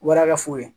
Wara ka foro ye